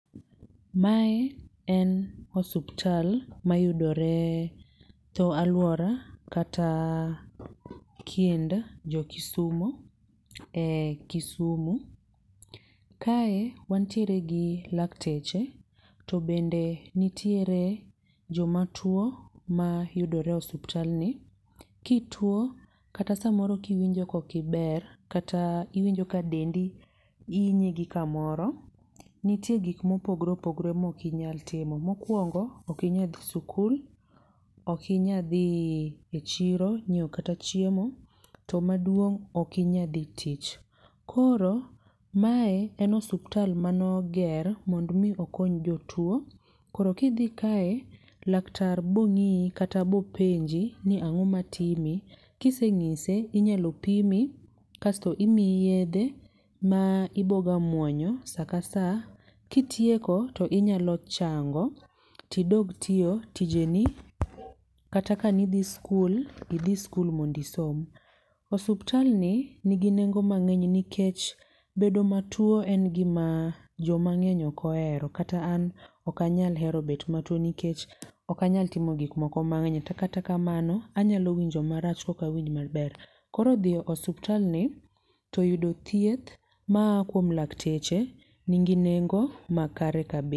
Mae en osuptal ma yudore tho alwora kata kind jokisumu e Kisumu. Ka e, wantiere gi lakteche to bende nitiere jomatwo mayudore osuptalni. Kitwo kata samoro kiwinjo kok iber kata iwinjoka dendi inyi gikamoro. Nitie gik mopogore opogore ma okinyal timo. Mokwongo, okinyal dhi sikul, okinyadhi echiro, nyiewo kata chiemo. To maduong' okinyal dhi tich. Koro mae en osuptal mane oger mondo mi okony jotwo. Koro kidhi ka e, laktar bong'ii kata bopenji ni ang'o matimi, kiseng'ise, inyalo pimi, kasto imi yiedhe ma iboga mwonyo sa ka sa. Kitieko to inyalo chango tidog tiyo tijeni kata ka nidhi skul, idhi skul mond isom. Osuptalni nigi nengo mang'eny nikech bedo matuo en gima joma ng'eny ok ohero. Kata an ok anyal hero bet matuo nikech ok anyal timo gik moko mang'eny. To kata kamano, anyalo winjo marach kok awinj maber. Koro dhiyo, osuptalni toyudo thieth maa kuom lakteche nigi nengo makare.